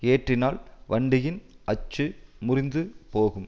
ஏற்றினால் வண்டியின் அச்சு முறிந்துபோகும்